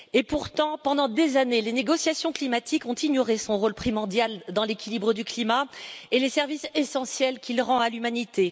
Pourtant, pendant des années, les négociations climatiques ont ignoré son rôle primordial dans l'équilibre du climat et les services essentiels qu'il rend à l'humanité.